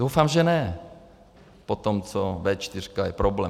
Doufám, že ne potom, co V4 je problém.